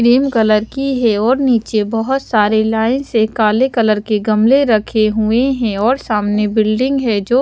cream colour की है और निचे बोहोत सारे लाइन से काले कलर के गमले रखे हुए है और सामने बिल्डिंग है जो --